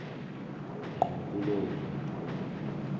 ngqo kulowo muntu